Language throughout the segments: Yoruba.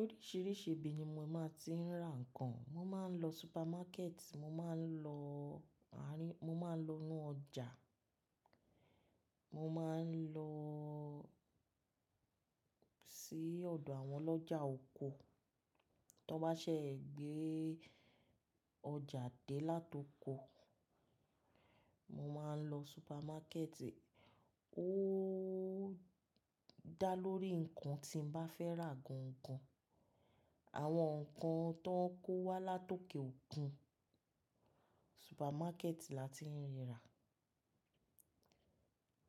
Oríṣìíríṣìí ibi ni mò máa ti ń ra ǹkan. Mò máa ń lọ supermarket, mò máa ń lọ àárín-- mò máa ń lọ nínú ọjà, mò máa ń lọ sí ọ̀dọ̀ àwọn ọlọ́jà oko. Tán bá ṣẹ́ ègbé ọjà dé látoko, mò máa ń lọ supermarket. Ó dá lórí ǹkan tí mo bá fẹ́ rà gan gan. Àwọn ǹkan tó ń kó wá látọkè òkun, supermarket la ti ń rí rà.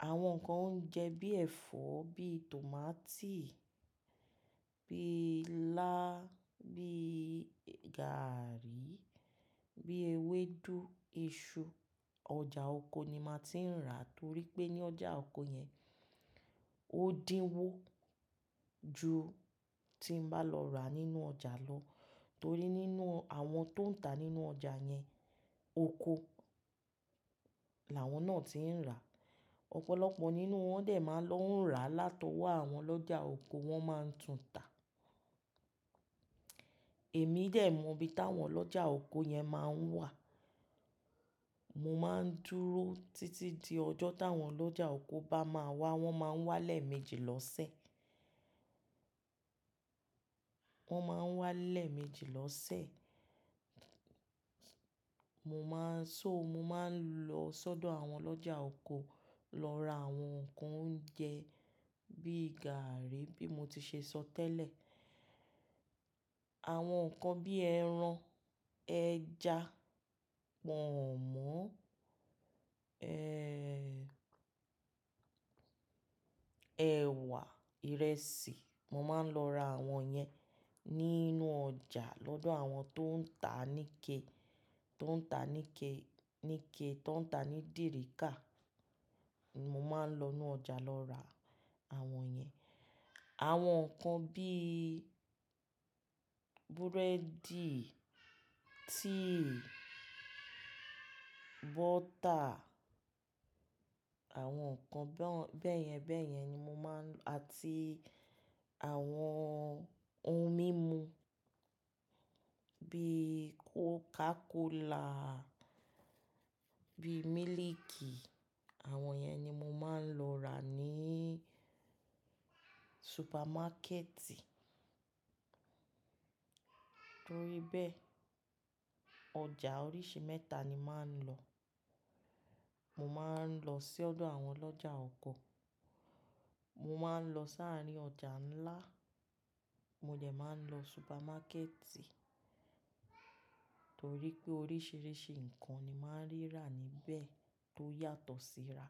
Àwọn ǹkan oúnjẹ bí ẹ̀fọ́, bí tòmátì, bí ilá, bí gààrí, bí ewédú, iṣu, ọjà oko ni màá ti ń rà torí pé ní ọjà oko yẹn ó dínwó ju tí mo bá lọ rà nínú ọjà lọ torí nínú àwọn tó ń tà nínú ọjà yẹn, oko làwọn náà ti ń rà. Ọ̀pọ̀lọpọ̀ nínú wọn dẹ̀ máa ń lọ ń rà látọwọ́ àwọn ọlọ́jà oko, wọ́n máa ń tún tà. Èmi dẹ̀ mọ ibi táwọn ọlọ́jà oko yẹn máa ń wà. Mò máa ń dúró títí di ọjọ́ táwọn ọlọ́jà oko bá máa wá, wọ́n máa ń wá lẹ́ẹ̀mejì lọ́sẹ̀. Wọ́n máa ń wá lẹ́ẹ̀mejì lọ́sẹ̀. Mo máa ń-- so mo máa ń lọ sọ́dọ̀ àwọn ọlọ́jà oko lọ ra àwọn ǹkan oúnjẹ bí gààrí bí mo ti ṣe sọ tẹ́lẹ̀. Àwọn ǹkan bí ẹran, ẹja, pọ̀nmọ́, ẹ ẹ̀wà, ìrẹsì, mò máa ń lọ ra àwọn yẹn nínú ọjà lọ́dọ̀ àwọn tó ń tà níke, tó ń tà níke, níke, tó ń tà ní dìríkà, mò máa ń lọ nínú ọjà lọ ra àwọn yẹn. Àwọn ǹkan bí búrẹ́dì, tíì, bọ́tà, àwọn ǹkan bẹ́ẹ̀ yẹn bẹ́ẹ̀ yẹn ni mò máa ń lọ àti àwọn ohun mímu bí Coca-Cola, bí mílìkì, àwọn yẹn ni mò máa ń lọ rà ní supermarket. Torí bẹ́ẹ̀ ọjà oríṣi mẹ́ta ni màá ń lọ. Mò máa ń lọ sí ọ̀dọ̀ àwọn ọlọ́jà oko, mò máa ń lọ sáàrí ọjà ńlá, mo dẹ̀ máa ń lọ supermarket torí pé oríṣìíríṣìí ǹkan ni màá ń rí rà níbẹ̀ tó yàtọ̀ síra.